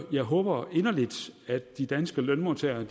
jeg håber inderligt at de danske lønmodtagere